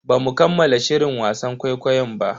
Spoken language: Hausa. Bamu kammala shirin wasan ƙwaiƙwayon ba.